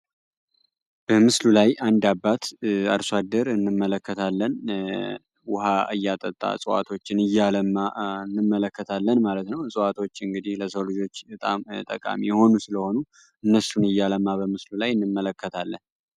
በምስሉ ላይአንድ አባት አርሶ አደር እንመለከታለን ዉሃ እያጠጣ እፅዋቶችን እያለማ እንመለከታለን ማለት ነው። እፅዋቶች ለሰው ልጅ በጣም ጠቃሚ የሆኑ ሲሆኑ እነሱን እያለማ በምስሉ ላይ እንመለከታለን።